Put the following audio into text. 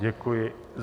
Děkuji.